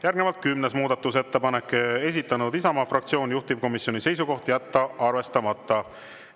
Järgnevalt kümnes muudatusettepanek, esitanud Isamaa fraktsioon, juhtivkomisjoni seisukoht: jätta arvestamata.